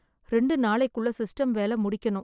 ரெண்டு நாளைக்குள்ள சிஸ்டம் வேல முடிக்கணும்.